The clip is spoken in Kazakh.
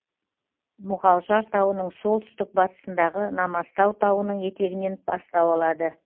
мұғалжар тауының солтүстік батысындағы намазтау тауының етегінен бастау алады